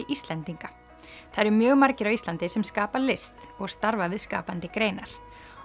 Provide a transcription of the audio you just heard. Íslendinga það eru mjög margir á Íslandi sem skapa list og starfa við skapandi greinar